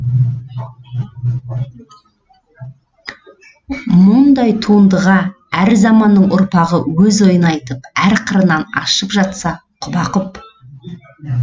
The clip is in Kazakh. мұндай туындыға әр заманның ұрпағы өз ойын айтып әр қырынан ашып жатса құба құп